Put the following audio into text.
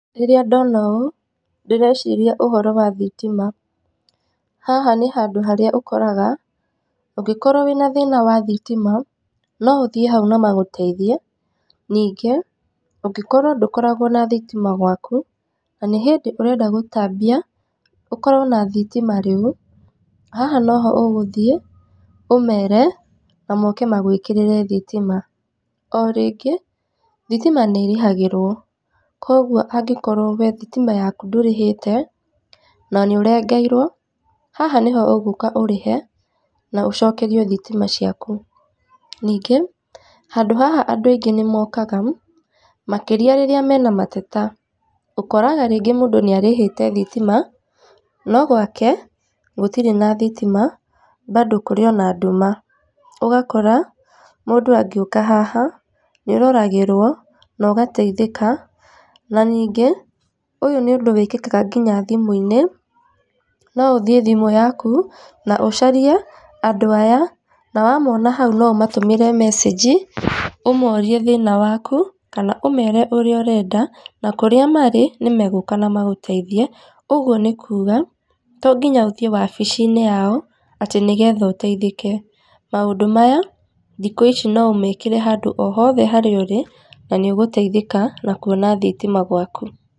Rĩrĩa ndona ũũ ndĩreciria ũhoro wa thitima, haha nĩ handũ harĩa ũkoraga, ũngĩkorwo wĩna thĩna wa thitima, no ũthiĩ hau na magũteithie, ningĩ, ũngĩkorwo ndũkoragwo na thitima gwaku, na nĩ hĩndĩ ũrenda gũtambia, ũkorwo na thitima rĩu, haha noho ũgũthiĩ, ũmere, na moke magwĩkĩrĩre thitima. O rĩngĩ, thitima nĩ ĩrĩhagĩrwo, kũguo angĩkorwo we thitima yaku ndũrĩhĩte, na nĩ ũrengeirwo, haha nĩho ũgũka ũrĩhe, na ũcokerio thitima ciaku, ningĩ, handũ haha andũ aingĩ nĩ mokaga, makĩrĩa rĩrĩa mena mateta, ũkoraga rĩngĩ mũndũ nĩ arĩhĩte thitima, no gwake gũtirĩ na thitima, bado kũrĩ ona nduma. Ũgakora mũndũ angĩũka haha, nĩ ũroragĩrwo, na ũgateithĩka na ningĩ, ũyũ nĩ ũndũ wĩkĩkaga nginya thimũ-inĩ, no ũthiĩ thimũ yaku na ũcarie andũ aya na wamona hau, no ũmatũmĩre message ũmorie thĩna waku, kana ũmere ũrĩa ũrenda, na kũrĩa marĩ, nĩ megũka na magũteithie, ũguo nĩ kuga, tonginya ũthiĩ wabici-inĩ yao, atĩ nĩgetha ũteithĩke, maũndũ maya, thikũ ici, no ũmekĩre handũ o hothe harĩa ũrĩ na nĩ ũgũteithĩka na kuona thitima gwaku.